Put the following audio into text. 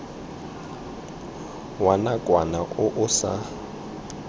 wa nakwana o o sa